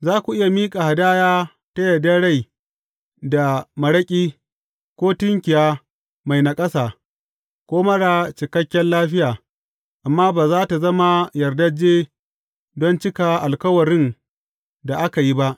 Za ku iya miƙa hadaya ta yardar rai da maraƙi, ko tunkiya mai naƙasa, ko marar cikakken lafiya, amma ba za tă zama yardajje don cika alkawarin da aka yi ba.